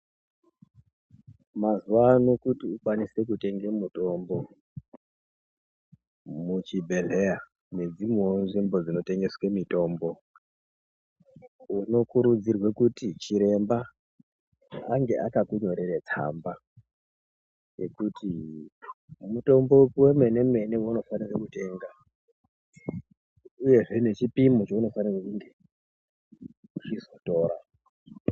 Muzuwano kuti ukwanise kutengesa mutombo muchibhedhlera nedzimwewo nzvimbo dzinotengeswe mitombo unokurudzirwe kuti chiremba ange akakunyorere tsambayekuti mutombo wako wemene-mene waunofanire kutenga uyezve nechipimo chaunofanirwe kunge weizotora.